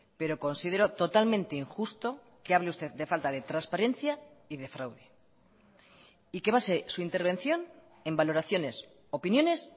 pero considero totalmente injusto que hable usted de falta de transparencia y de fraude y que base su intervención en valoraciones opiniones